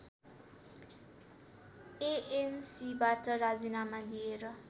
एएनसीबाट राजिनामा दिएर